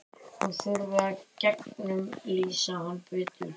Hún þurfi að gegnumlýsa hann betur.